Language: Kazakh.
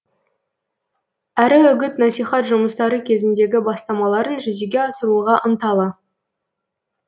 әрі үгіт насихат жұмыстары кезіндегі бастамаларын жүзеге асыруға ынталы